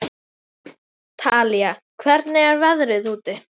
Talía, hvernig er veðrið úti?